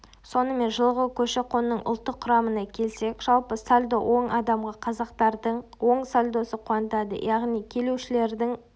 сонымен жылғы көші-қонның ұлттық құрамына келсек жалпы сальдо оң адамға қазақтардың оң сальдосы қуантады яғни келушілердің